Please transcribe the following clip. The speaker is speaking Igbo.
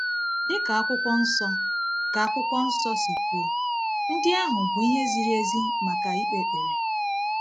Dị ka Akwụkwọ Nsọ ka Akwụkwọ Nsọ si kwuo, ndị ahụ bụ ihe ziri ezi maka ikpe ekpere.